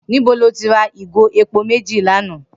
Nibó ló ti rà igó épó méji lànã?